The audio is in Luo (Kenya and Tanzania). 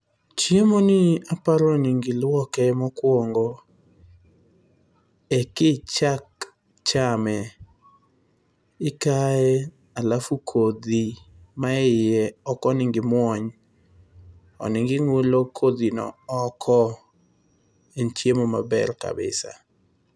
Chiemoni aparo ni onego iluoke mokuongo ekichak chame. Ikaye alafu kodhi man eiye ok onego imuony. Onego ing'ulo kodhino oko. En chiemo maber kabisa.